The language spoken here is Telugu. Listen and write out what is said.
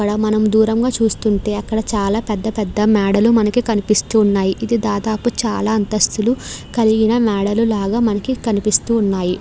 ఇక్కడ మనం దూరంగా చూస్తూ ఉంటే అక్కడ చాలా పెద్ధ పెద్ధ మేడలు మనకి కనిపిస్తూ ఉన్నాయి. ఇది దాదాపు చాలా అంతస్తులు కలిగిన మేడలు లాగా మనకు కనిపిస్తున్నాయి.